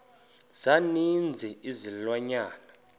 za ninzi izilwanyana